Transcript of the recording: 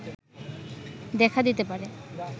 দেখা দিতে পারে